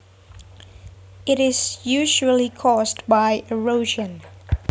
It is usually caused by erosion